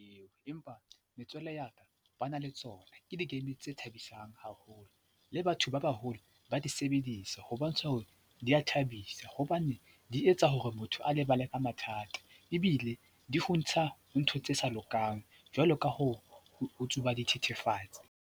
Eo empa metswalle ya ka ba na le tsona. Ke di-game tse thabisang haholo le batho ba baholo ba di sebedisa ho bontsha hore di a thabisa hobane di etsa hore motho a lebala ka mathata ebile di o ntsha ntho tse sa lokang jwalo ka ho tsuba dithethefatsi.